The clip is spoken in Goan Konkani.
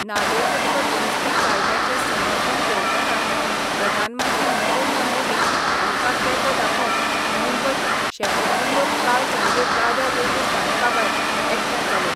नागरिकत्व दुरुस्ती कायद्याचे समर्थन करतनाच प्रधानमंत्री नरेंद्र मोदी हांका तेको दाखोवंक मुंबयत शेकड्यानी लोक काल सांजे दादर रेल्वे स्थानकाभायर एकठाय जाले.